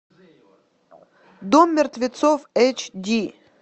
дом мертвецов эйч ди